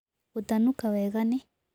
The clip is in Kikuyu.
Gũtanũka wega nĩ